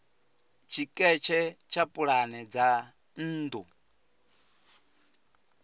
tshiketshe tsha pulane dza nnḓu